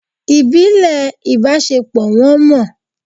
Ibile ibasepo won mọ